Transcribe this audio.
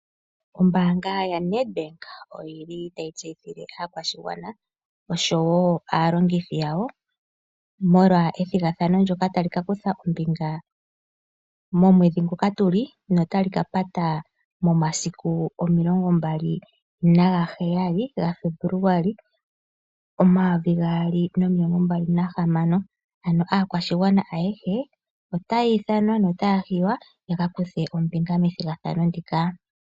Ombaanga ya Nedbank oyili tayi tseyithile aakwashigwana oshowo aalongithi yawo molwa ethigathano ndjoka tali kakuthwa ombinga momwedhi nguka tuli notali kapata momasiku omilongombali nagaheyali ga Febuluali, omayovi gaali nomilongombali nahamano . Ano aakwashigwana ayehe otaya hiywa ya kakuthe ombinga methigathano ndika.